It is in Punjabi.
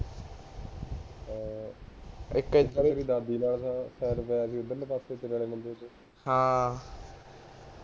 ਹਾਂ